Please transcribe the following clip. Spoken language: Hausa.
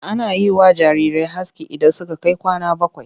Ana yi wa jarirai aski idan suka kai kwana bakwai.